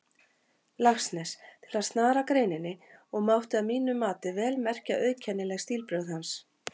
Laxness, til að snara greininni, og mátti að mínu mati vel merkja auðkennileg stílbrögð hans.